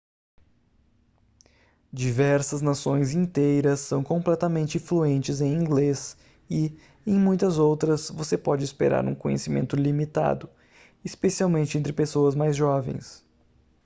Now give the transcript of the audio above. diversas nações inteiras são completamente fluentes em inglês e em muitas outras você pode esperar um conhecimento limitado especialmente entre pessoas mais jovens